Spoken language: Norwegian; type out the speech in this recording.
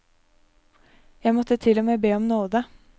Jeg måtte til og med be om nåde.